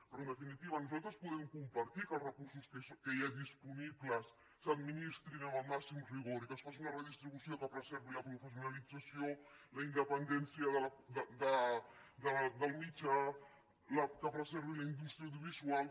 però en definitiva nosaltres podem compartir que els recursos que hi ha disponibles s’administrin amb el màxim rigor i que es faci una redistribució que preservi la professionalització la independència del mitjà que preservi la indústria audiovisual